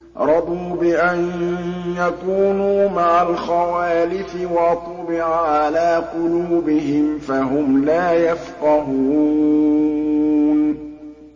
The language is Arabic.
رَضُوا بِأَن يَكُونُوا مَعَ الْخَوَالِفِ وَطُبِعَ عَلَىٰ قُلُوبِهِمْ فَهُمْ لَا يَفْقَهُونَ